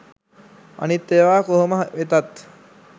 අනිත් ඒව කොහොම වෙතත්